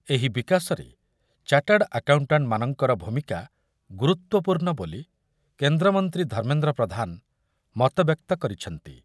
ଏହି ବିକାଶରେ chartered accountant ମାନଙ୍କର ଭୂମିକା ଗୁରୁତ୍ବପୂର୍ଣ୍ଣ ବୋଲି କେନ୍ଦ୍ରମନ୍ତ୍ରୀ ଧର୍ମେନ୍ଦ୍ର ପ୍ରଧାନ ମତବ୍ୟକ୍ତ କରିଛନ୍ତି।